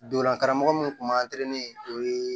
Donla karamɔgɔ min tun b'an o ye